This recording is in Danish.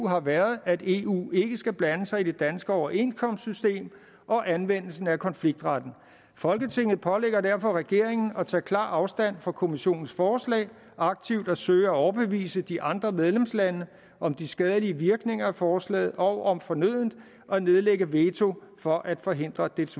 har været at eu ikke skal blande sig i det danske overenskomstsystem og anvendelsen af konfliktretten folketinget pålægger derfor regeringen at tage klar afstand fra kommissionens forslag aktivt at søge at overbevise de andre medlemslande om de skadelige virkninger af forslaget og om fornødent at nedlægge veto for at forhindre dets